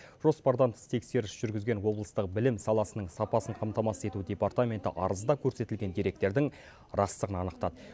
жоспардан тыс тексеріс жүргізген облыстық білім саласының сапасын қамтамасыз ету департаменті арызда көрсетілген деректердің растығын анықтады